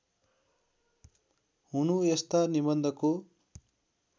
हुनु यस्ता निबन्धको